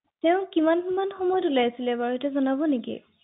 কিয়নো